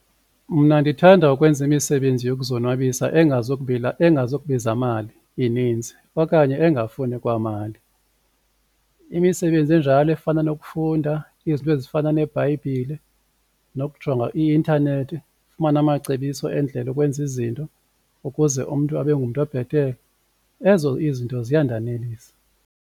Mna ndithanda ukwenza imisebenzi yokuzonwabisa engazukubiza mali ininzi okanye engafuni kwamali. Imisebenzi enjalo efana nokufunda izinto ezifana neBhayibhile nokujonga i-intanethi ufumane amacebiso endlela yokwenza izinto ukuze umntu abe ngumntu obhetele, ezo izinto ziyandanelisa.